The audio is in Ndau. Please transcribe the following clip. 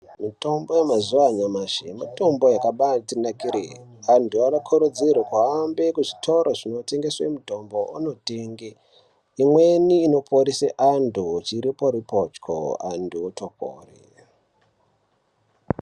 Mutombo yemazuwa anyamashi mutombo yakabaatinakire .. Antu anokurudzirwe ahambe kuzvitoro zvinotengeswe mutombo anotenge .Imweni inoporese antu chiripo -ripo cho, antu otopore.